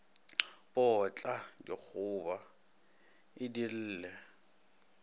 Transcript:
potla digoba e di lle